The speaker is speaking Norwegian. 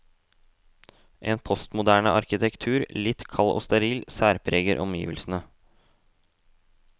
En postmoderne arkitektur, litt kald og steril, særpreger omgivelsene.